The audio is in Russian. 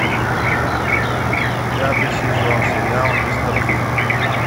пятый сезон сериал мистер бин